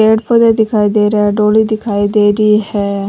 पेड़ पौधे दिखाई दे रहे है डोली दिखाई दे री है।